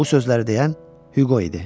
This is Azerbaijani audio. Bu sözləri deyən Hüqo idi.